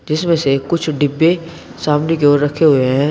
जिसमें से कुछ डिब्बे सामने क्यों रखे हुए हैं।